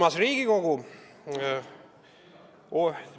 Armas Riigikogu!